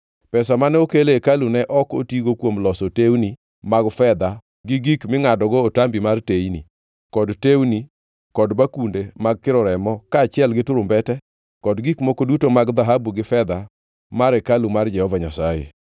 Pesa mane okel e hekalu ne ok otigo kuom loso tewni mag fedha gi gik mingʼadogo otambi mar teyni, kod tewni, kod bakunde mag kiro remo, kaachiel gi turumbete kod gik moko duto mag dhahabu gi fedha mar hekalu mar Jehova Nyasaye,